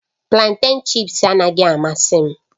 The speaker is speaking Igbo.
Planten chị́ps anaghị amasị m